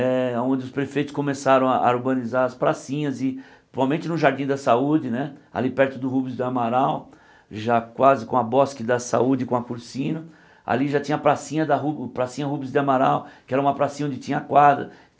é onde os prefeitos começaram a a urbanizar as pracinhas e, principalmente no Jardim da Saúde, né, ali perto do Rubens de Amaral, já quase com a Bosque da Saúde com a Cursino, ali já tinha a pracinha da ru pracinha Rubens de Amaral, que era uma pracinha onde tinha quadra.